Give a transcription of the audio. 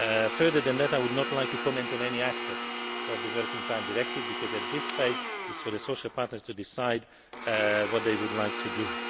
Further than that I would not like to comment on any aspect of the Working Time Directive because at this phase it is for the social partners to decide what they would like to do.